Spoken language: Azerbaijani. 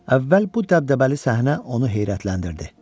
Əvvəl bu dəbdəbəli səhnə onu heyrətləndirdi.